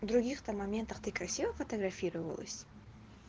в других то моментах ты красива фотографировалась